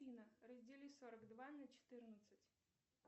афина раздели сорок два на четырнадцать